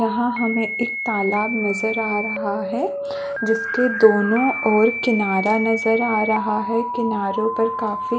यहाँ हमें एक तालाब नजर आ रहा है जिसके दोनों ओर किनारा नजर आ रहा है किनारो पर काफी--